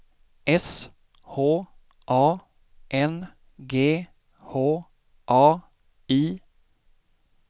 S H A N G H A I